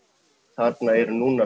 þarna eru núna